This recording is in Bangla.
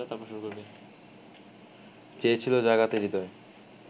চেয়েছিলো জাগাতে হৃদয়